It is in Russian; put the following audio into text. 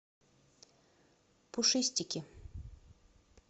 пушистики